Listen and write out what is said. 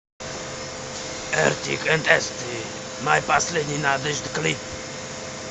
артик энд асти моя последняя надежда клип